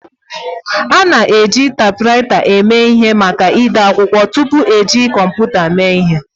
A na-eji taipwraita eme ihe maka ide akwụkwọ tupu eji kọmputa eme ihe